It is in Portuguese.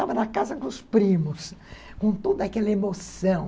Estava na casa com os primos, com toda aquela emoção.